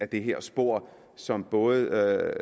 det her spor som både